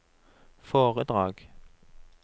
foredrag